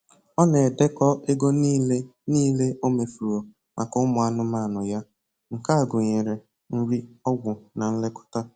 Ọ na-edekọ ego nile nile o mefuru maka ụmụ anụmanụ ya. Nke a gụnyere nri, ọgwụ, na nlekọta